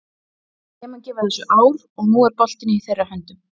Ég mun gefa þessu ár og nú er boltinn í þeirra höndum.